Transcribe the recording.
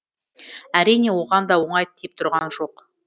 әрине оған да оңай тиіп тұрған жоқ